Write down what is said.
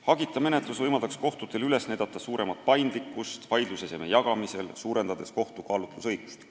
Hagita menetlus võimaldaks kohtutel üles näidata suuremat paindlikkust vaidluseseme jagamisel, suurendades kohtu kaalutlusõigust.